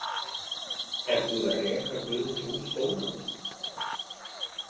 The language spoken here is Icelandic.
Er búið að reka Guðmund úr skólanum?